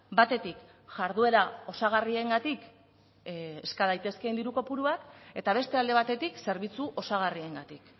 batetik jarduera osagarriengatik eska daitezkeen diru kopuruak eta beste alde batetik zerbitzu osagarriengatik